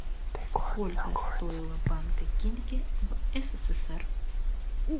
сколько стоила банка кильки в ссср